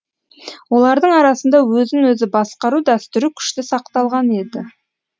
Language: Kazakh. олардың арасында өзін өзі басқару дәстүрі күшті сақталған еді